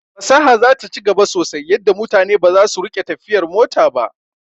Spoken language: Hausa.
Fasaha zata ci gaba sosai yadda mutane baza su rika tafiyar mota ba